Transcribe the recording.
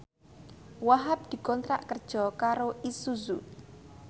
Wahhab dikontrak kerja karo Isuzu